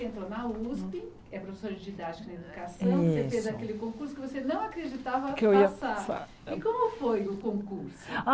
Entrou na Usp, é professora de didática na educação, Isso você fez aquele concurso que você não acreditava Que eu ia passar ia passar. E como foi o concurso?